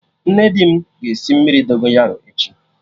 Nne di m ga-esi mmiri Dogonyaro echi